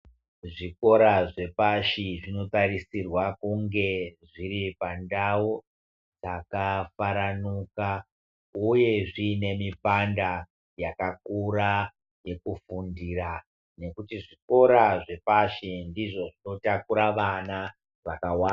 Zvikora zvepashi zvinotarisirwa kunge zviri pandau dzakafaranuka uye zviine mipanda yakakura yekufundira nekuti zvikora zvepashi ndizvo zvinotakura vana vakawanda.